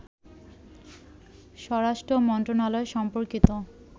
স্বরাষ্ট্র মন্ত্রণালয় সম্পর্কিত